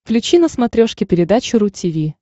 включи на смотрешке передачу ру ти ви